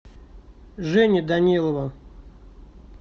жени данилова